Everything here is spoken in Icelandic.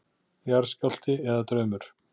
Jarðskjálfti eða draumur?